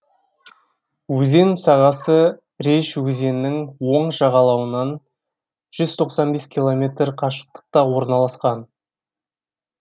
өзен сағасы реж өзенінің оң жағалауынан жүз тоқсан бес километр қашықтықта орналасқан